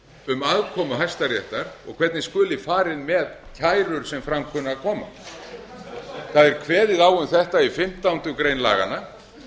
um aðkomu hæstaréttar og hvernig skuli farið með kærur sem fram kunna að koma það er kveðið á um þetta í fimmtándu grein laganna